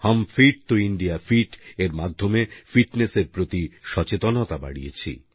হাম fit Toh India fit এর মাধ্যমে ফিটনেসের প্রতি সচেতনতা বাড়িয়েছি